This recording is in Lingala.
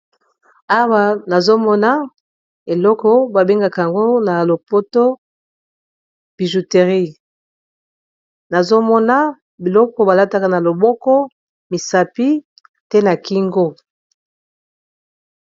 Awa nazomona eloko ba bengaka yango na lopoto bijouterie, nazomona biloko balataka na loboko, misapi pe na kingo.